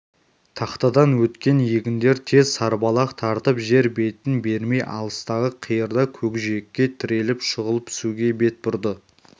тақтадан өткен егіндер тез сарбалақ тартып жер бетін бермей алыстағы қиырда көкжиекке тіреліп шұғыл пісуге бет бұрды